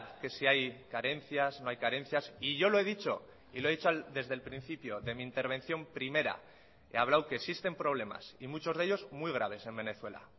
que si hay carencias no hay carencias y yo lo he dicho y lo he dicho desde el principio de mi intervención primera he hablado que existen problemas y muchos de ellos muy graves en venezuela